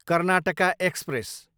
Karnataka express